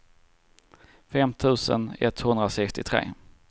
fem tusen etthundrasextiotre